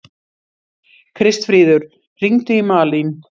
Kristfríður, hringdu í Malin.